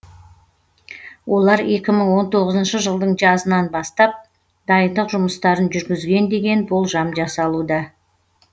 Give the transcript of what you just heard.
олар екі мың он тоғызыншы жылдың жазынан бастап дайындық жұмыстарын жүргізген деген болжам жасалуда